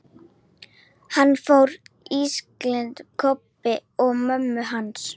Hann fór ískyggilega nærri Kobba og mömmu hans.